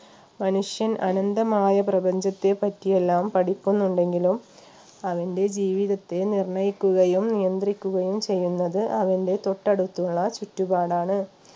മനുഷ്യൻ അനന്തമായ പ്രപഞ്ചത്തെ പറ്റി എല്ലാം പഠിക്കുന്നുണ്ടെങ്കിലും അവന്റെ ജീവിതത്തെ നിർണയിക്കുകയും നിയന്ത്രിക്കുകയും ചെയ്യുന്നത് അവൻറെ തൊട്ടടുത്തുള്ള ചുറ്റുപാടാണ്